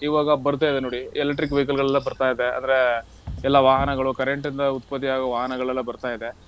ಇವಾಗ ಬರ್ತಾ ಇದೆ ನೋಡಿ electric vehicle ಗಳೆಲ್ಲ ಬರ್ತಾ ಇದೆ ಅಂದ್ರೆ ಎಲ್ಲಾ ವಾಹನಗಳು current ಇಂದ ಉತ್ಪತ್ತಿ ಆಗುವ ವಾಹನಗಳೆಲ್ಲ ಬರ್ತಾ ಇದೆ.